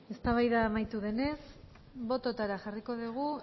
eztabaida amaitu denez bototara jarriko dugu